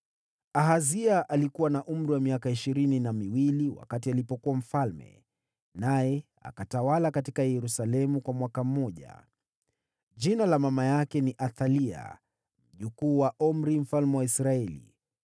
Ahazia alikuwa na umri wa miaka ishirini na miwili alipoanza kutawala, naye akatawala katika Yerusalemu kwa mwaka mmoja. Mama yake aliitwa Athalia, mjukuu wa Omri mfalme wa Israeli.